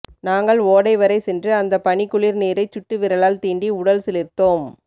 நாங்கள் ஓடைவரை சென்று அந்தப் பனிக்குளிர் நீரைச் சுட்டுவிரலால் தீண்டி உடல் சிலிர்த்தோம்